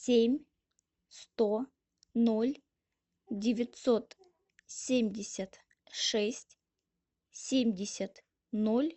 семь сто ноль девятьсот семьдесят шесть семьдесят ноль